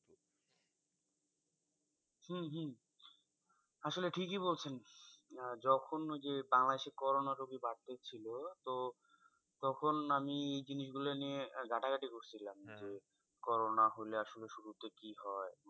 হম হম আসলে ঠিকই বলছেন আহ যখন ঐ যে, বাংলাদেশে corona রুগি বাড়তে ছিল তো তখন আমি এই জিনিস গুলো নিয়ে ঘাটাঘাটি করছিলাম যে, corona হলে আসলে শুরুতে কী হয়?